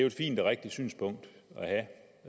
et fint og rigtigt synspunkt